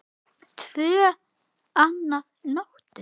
Tvö að nóttu